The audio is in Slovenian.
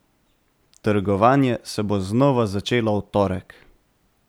Trgovanje se bo znova začelo v torek.